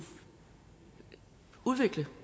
udvikle